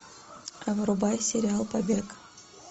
врубай сериал побег